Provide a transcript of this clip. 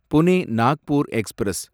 Pune Nagpur express